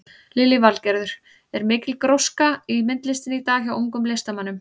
Lillý Valgerður: Er mikil gróska í myndlistinni í dag hjá ungum listamönnum?